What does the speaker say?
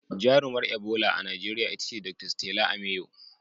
Jarumar Ebola a Najeriya ita ce Dr. 'Stella Ameyo.'